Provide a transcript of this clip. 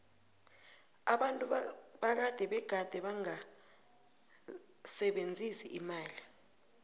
abantu bakade begade bangasebenzisi imali